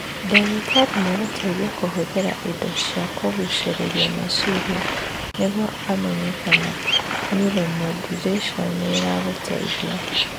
Ndagĩtarĩ nĩ egũgũteithia kũhũthĩra indo cia kũgucĩrĩria meciria nĩguo amenye kana neuromodulation nĩ ĩragũteithia.